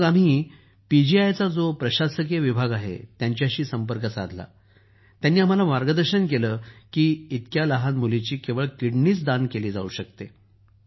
मग आम्ही पीजीआयचा जो प्रशासकीय विभाग आहे त्यांच्याशी संपर्क साधला आणि त्यांनी आम्हाला मार्गदर्शन केलं की इतक्या लहान मुलीची केवळ किडनीच दान केली जाऊ शकते